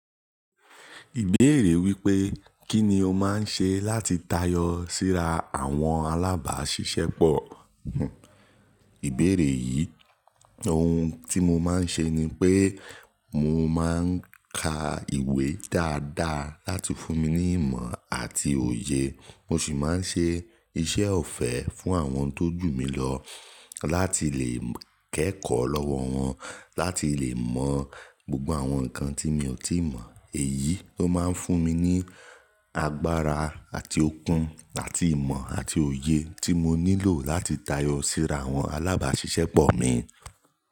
Ìbéèrè wípé: Kí ni o máa ń ṣe láti tayọ síra àwọn alábàáṣiṣẹ́ pọ̀? Ìbéèrè yìí, oun tí mo máa ń ṣe ni pé mo máa ń ka ìwé dáadáa láti fún mi ní ìmọ̀ àti òye. Mo ṣì máa ń ṣe iṣẹ́ ọ̀fẹ́ fún àwọn tó jù mí lọ láti lè kẹ́kọ̀ọ́ lọ́wọ́ wọn láti lè mọ gbogbo àwọn nǹkan tí mi ò tíì mọ̀. Èyí ló máa ń fún mi ní agbára àti okun àti ìmọ̀ àti òye tí mo nílò láti tayọ síra àwọn alábàáṣiṣẹ́ pọ̀ mi.